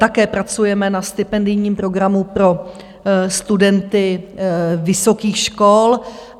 Také pracujeme na stipendijním programu pro studenty vysokých škol.